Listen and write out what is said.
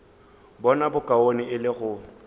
bona bokaone e le go